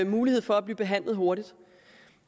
mulighed for at blive behandlet hurtigt